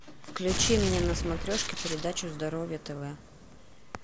включи мне на смотрешке передачу здоровье тв